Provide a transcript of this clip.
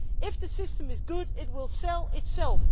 If the system is good, it will sell itself.